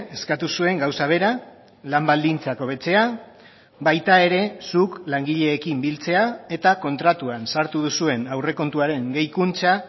eskatu zuen gauza bera lan baldintzak hobetzea baita ere zuk langileekin biltzea eta kontratuan sartu duzuen aurrekontuaren gehikuntza